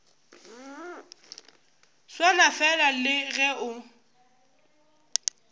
swana fela le ge o